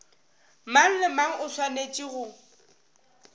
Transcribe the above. mang le mang o swanetše